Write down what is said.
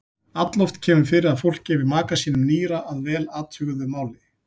Alloft kemur fyrir að fólk gefi maka sínum nýra að vel athuguðu máli.